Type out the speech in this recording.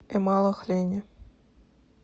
эмалахлени